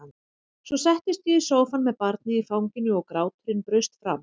Svo settist ég í sófann með barnið í fanginu og gráturinn braust fram.